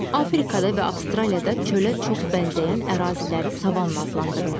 Afrikada və Avstraliyada çölə çox bənzəyən əraziləri savanna adlandırırlar.